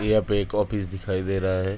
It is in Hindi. यहाँ पे एक ऑफिस दिखाई दे रहा है ।